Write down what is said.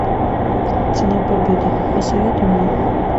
цена победы посоветуй мне